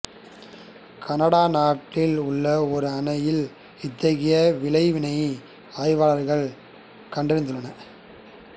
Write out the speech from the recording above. Canada நாட்டில் உள்ள ஓர் அணையில் இத்தகைய விளைவினை ஆய்வாளர்கள் கண்டறிந்துள்ளனர்